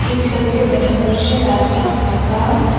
এই ছবিটা দেখা যাচ্ছে রাস্তা ফাঁকা।